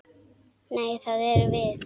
Nei, það erum við.